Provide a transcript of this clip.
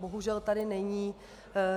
Bohužel tady není.